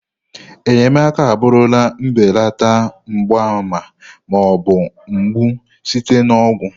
Enyemaka abụrụla mbelata mgbaàmà ma ọ bụ mgbu site na ọgwụ.